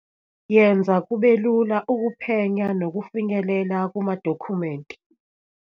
Yenza kube lula ukuphenya nokufinyelela kumadokhumenti